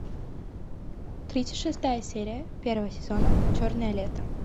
тридцать шестая серия первого сезона черное лето